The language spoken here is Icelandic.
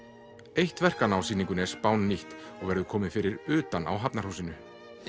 eitt verkanna á sýningunni er spánnýtt og verður komið fyrir utan á Hafnarhúsinu